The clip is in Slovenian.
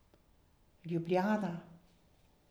Ljubljana .